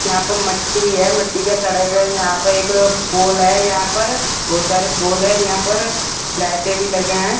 यहां पे मट्टी है मट्टी का सड़क है यहां पे एक पोल है यहां पर बहुत सारे पोल है यहां पर लाइटे भी लगे है।